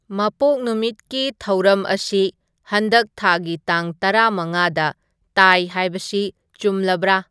ꯃꯄꯣꯛ ꯅꯨꯃꯤꯠꯀꯤ ꯊꯧꯔꯝ ꯑꯁꯤ ꯍꯟꯗꯛ ꯊꯥꯒꯤ ꯇꯥꯡ ꯇꯔꯥ ꯃꯉꯥꯗ ꯇꯥꯏ ꯍꯥꯏꯕꯁꯤ ꯆꯨꯝꯂꯕ꯭ꯔꯥ